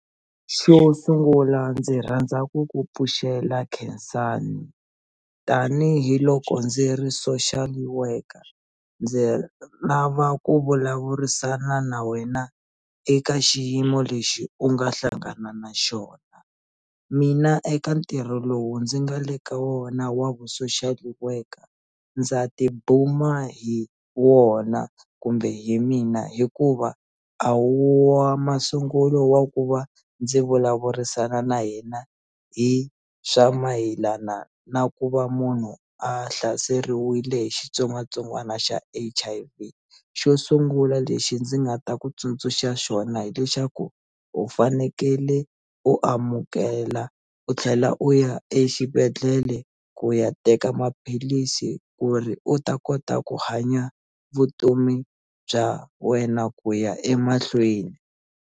Xo sungula ndzi rhandza ku ku pfuxela khensani tanihiloko ndzi ri Social Worker ndzi lava ku vulavurisana na wena eka xiyimo lexi u nga hlangana na xona mina eka ntirho lowu ndzi nga le ka wona wa vu Social Worker ndza tibuma hi wona kumbe hi mina hikuva a wu wa masungulo wa ku va ndzi vulavurisana na yena hi swa mayelana na ku va munhu a hlaseriwile hi xitsongwatsongwana xa H_I_V xo sungula lexi ndzi nga ta ku tsundzuxa xona hi lexaku u fanekele u amukela u tlhela u ya exibedhlele ku ya teka maphilisi ku ri u ta kota ku hanya vutomi bya wena ku ya emahlweni.